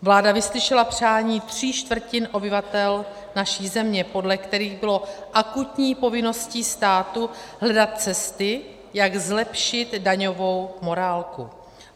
Vláda vyslyšela přání tří čtvrtin obyvatel naší země, podle kterých bylo akutní povinností státu hledat cesty, jak zlepšit daňovou morálku.